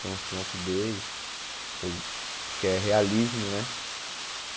Tem uns trampos deles, que eu que é realismo, né?